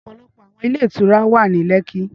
Ọpọlọpọ awọn ilé ìtura wa ni lekki